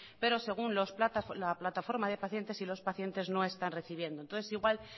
pero según la plataforma de pacientes os pacientes no están recibiendo entonces igual